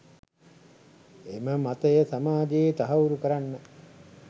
එම මතය සමාජයේ තහවුරු කරන්න